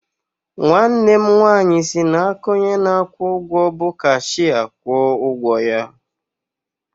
Nwanne m nwaanyị si n'aka onye na-akwụ ụgwọ bụ cashịa kwụọ ụgwọ ya